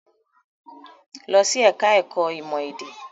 Lọ sí ẹ̀ka-ẹ̀kọ́ ìmọ̀-èdè!